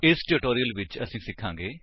ਇਸ ਟਿਊਟੋਰਿਅਲ ਵਿੱਚ ਅਸੀ ਸਿਖਾਂਗੇ